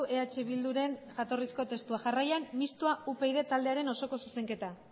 eh bilduren jatorrizko testua jarraian mistoa upyd taldearen osoko zuzenketa